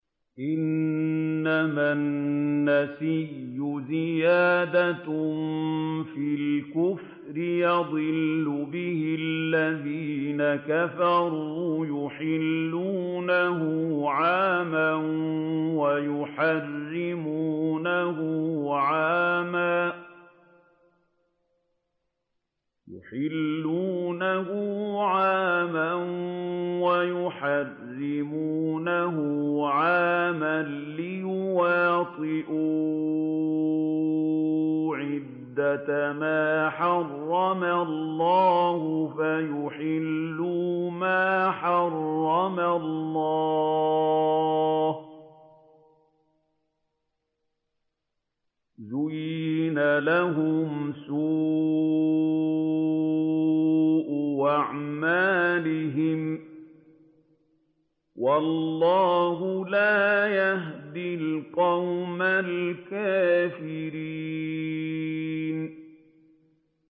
إِنَّمَا النَّسِيءُ زِيَادَةٌ فِي الْكُفْرِ ۖ يُضَلُّ بِهِ الَّذِينَ كَفَرُوا يُحِلُّونَهُ عَامًا وَيُحَرِّمُونَهُ عَامًا لِّيُوَاطِئُوا عِدَّةَ مَا حَرَّمَ اللَّهُ فَيُحِلُّوا مَا حَرَّمَ اللَّهُ ۚ زُيِّنَ لَهُمْ سُوءُ أَعْمَالِهِمْ ۗ وَاللَّهُ لَا يَهْدِي الْقَوْمَ الْكَافِرِينَ